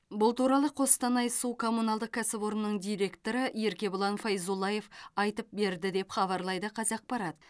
бұл туралы қостанай су коммуналдық кәсіпорнының директоры еркебұлан файзуллаев айтып берді деп хабарлайды қазақпарат